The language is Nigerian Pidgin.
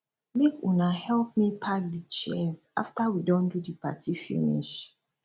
make una help me pack di chairs after we don do di party finish